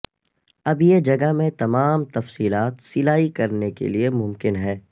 اب یہ جگہ میں تمام تفصیلات سلائی کرنے کے لئے ممکن ہے